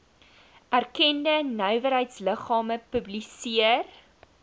erkende nywerheidsliggame publiseer